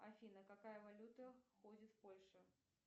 афина какая валюта ходит в польше